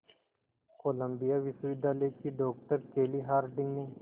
Colombia विश्वविद्यालय की doctor Kelly Harding ने